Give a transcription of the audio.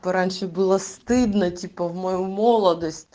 раньше было стыдно типа в мою молодость